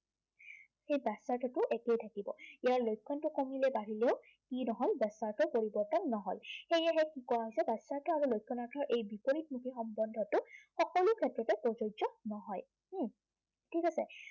সেই ব্য়াসাৰ্থটো একেই থাকিব। ইয়াৰ লক্ষণটো কমিলেও বাঢ়িলেও সি পৰিৱৰ্তন নহয়। সেয়েহে কি কোৱা হৈছে, বাচ্য়াৰ্থ আৰু লক্ষণাৰ্থ এই বিপৰীতমুখী সম্বন্ধটো য'তে ত'তে প্ৰযোজ্য় নহয়। উম ঠিক আছে?